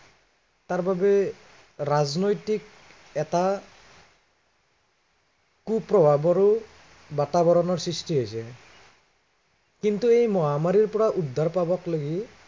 তাৰ বাবে, ৰাজনৈতিক এটা কু প্ৰভাৱৰো বাতাৱৰণৰ সৃষ্টি হৈছে। কিন্তু এই মহামাৰীৰ পৰা উদ্ধাৰ পাবকলৈকে তাৰবাবে